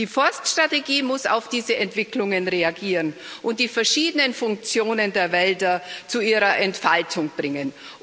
Die Forststrategie muss auf diese Entwicklungen reagieren und die verschiedenen Funktionen der Wälder zu ihrer Entfaltung bringen.